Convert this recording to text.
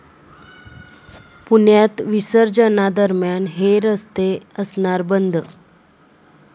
पुण्यात विसर्जनादरम्यान हे रस्ते असणार बंद